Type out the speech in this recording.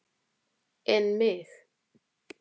En mig.